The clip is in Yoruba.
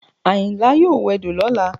Àyìnlá yóò wẹdò lọ́la